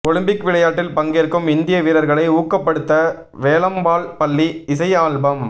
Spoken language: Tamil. ஒலிம்பிக் விளையாட்டில் பங்கேற்கும் இந்திய வீரர்களை ஊக்கப்படுத்த வேலம்மாள் பள்ளி இசை ஆல்பம்